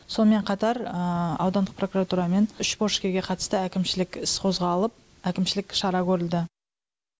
сонымен қатар аудандық прокуратурамен үш борышкерге қатысты әкімшілік іс қозғалып әкімшілік шара көрілді